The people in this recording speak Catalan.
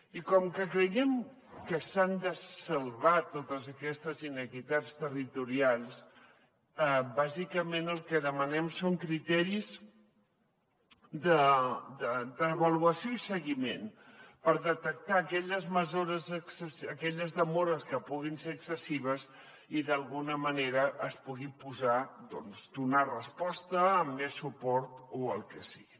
i com que creiem que s’han de salvar totes aquestes inequitats territorials bàsicament el que demanem són criteris d’avaluació i seguiment per detectar aquelles demores que puguin ser excessives i d’alguna manera es pugui donar resposta amb més suport o el que sigui